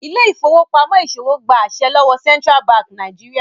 Ile-ifowopamọ ìṣòwò gbà àse lówó Central Bank Nigeria.